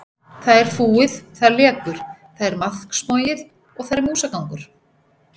Það er fúið, það lekur, það er maðksmogið og þar er músagangur.